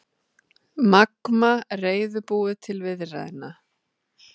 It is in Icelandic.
Magma reiðubúið til viðræðna